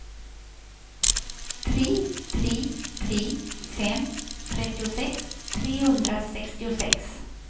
tre tre tre fem trettiosex trehundrasextiosex